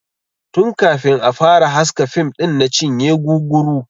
Tun kafin a fara haska fim ɗin na cinye guguru.